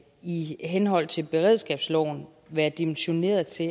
i henhold til beredskabsloven være dimensioneret til